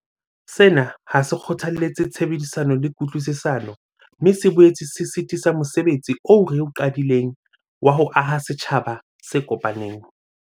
Sena ha se kgothalletse tshebedisano le kutlwisisano, mme se boetse se sitisa mose betsi oo re o qadileng wa ho aha setjhaba se kopaneng.